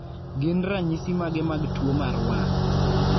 gin ranyisi mage mag tuo mar wang'